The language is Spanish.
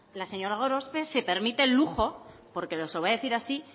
la señora gorospe se permite el lujo porque se lo va a decir así